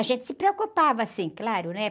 A gente se preocupava, sim, claro, né?